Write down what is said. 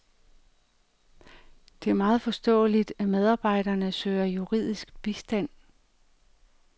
Det er meget forståeligt, at medarbejderne søger juridisk bistand.